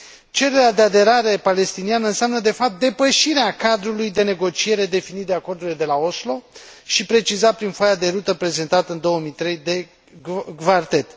Cererea de aderare palestiniană înseamnă de fapt depășirea cadrului de negociere definit de acordurile de la Oslo și precizat prin foaia de rută prezentată în 2003 de Quartet.